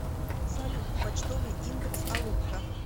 салют почтовый индекс алупка